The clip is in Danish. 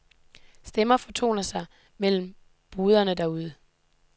Stemmer fortoner sig mellem boderne derude.